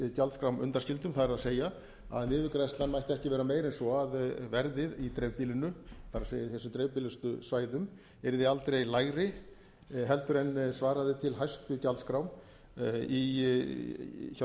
dreifbýlisgjaldskrám undanskildum það er að niðurgreiðslan mætti ekki vera meiri en svo að verðið í dreifbýlinu það er þessum dreifbýlustu svæðum yrði aldrei lægra heldur en svaraði til hæstu gjaldskrám hjá